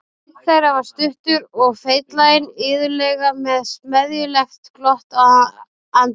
Einn þeirra var stuttur og feitlaginn, iðulega með smeðjulegt glott á andlitinu.